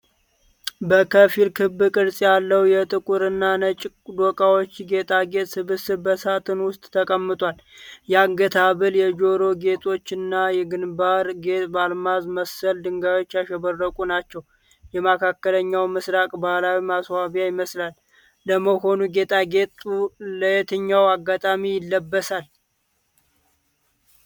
ከፊል ክብ ቅርጽ ያለው የጥቁርና ነጭ ዶቃዎች ጌጣጌጥ ስብስብ በሳጥን ውስጥ ተቀምጧል። የአንገት ሐብል፣ የጆሮ ጌጦችና የግንባር ጌጥ በአልማዝ መሰል ድንጋዮች ያሸበረቁ ናቸው። የመካከለኛው ምስራቅ ባህላዊ ማስዋቢያ ይመስላል፤ ለመሆኑ ጌጣጌጡ ለየትኛው አጋጣሚ ይለበሳል?